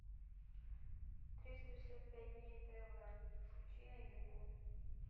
триста шестьдесят пять дней тв включи новинку